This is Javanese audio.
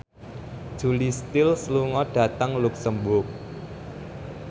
Julia Stiles lunga dhateng luxemburg